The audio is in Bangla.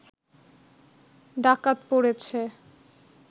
ডাকাত পড়েছে